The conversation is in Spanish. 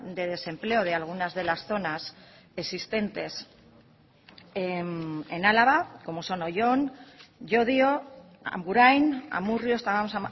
de desempleo de algunas de las zonas existentes en álava como son oyón llodio agurain amurrio estábamos